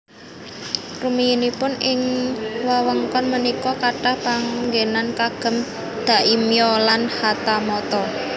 Rumiyinipun ing wewengkon punika kathah panggenan kagem daimyo lan hatamoto